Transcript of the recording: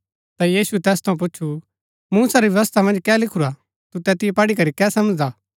ता यीशुऐ तैस थऊँ पूच्छु मूसा री व्यवस्था मन्ज कै लिखुरा तु तैतिओ पढ़ी करी कै समझदा